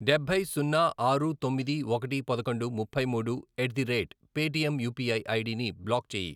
డబ్బై, సున్నా, ఆరు, తొమ్మిది, ఒకటి, పదకొండు, ముప్పై మూడు, at the rate Paytm UPI ID ని బ్లాక్ చేయి.